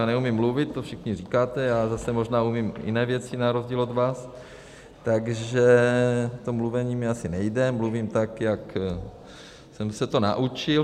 Já neumím mluvit, to všichni říkáte, já zase možná umím jiné věci na rozdíl od vás, takže to mluvení mi asi nejde, mluvím tak, jak jsem se to naučil.